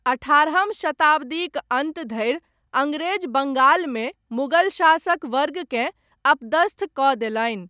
अठारहम शताब्दीक अन्त धरि, अङ्ग्रेज बङ्गालमे, मुगल शासक वर्गकेँ अपदस्थकऽ देलनि।